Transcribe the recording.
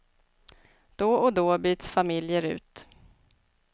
Då och då byts familjer ut.